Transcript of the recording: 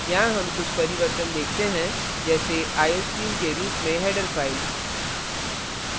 यहाँ हम कुछ परिवर्तन देखते हैं जैसे iostream के रूप में header file